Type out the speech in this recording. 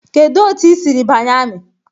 Kedu otu ị siri banye ami?